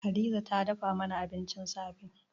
Hadiza tana dafa mana abincin safe.